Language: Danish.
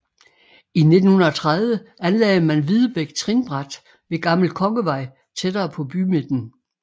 I 1930 anlagde man Videbæk trinbræt ved Gammel Kongevej tættere på bymidten